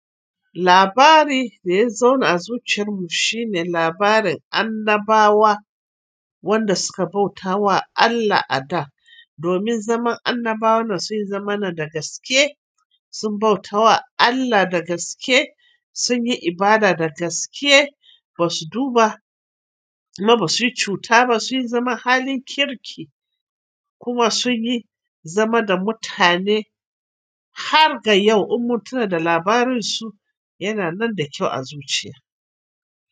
Labari da ya zauna a zuciyarmu shine labarin annabawa, wanda suka bauta wa Allah a da. Domin zaman annabawan nan sun yi zamana da gaske, sun bauta wa Allah da gaske, sun yi ibada da gaske ba su duba, kuma ba su yi cuta ba. Sun yi zaman halin kirki, kuma sun yi zama da mutane har ga yau. Ummuntuna da labarin su yana nan da kyau a zuciya.